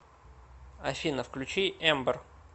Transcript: афина включи эмбер